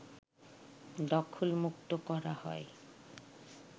দখলমুক্ত করা হয়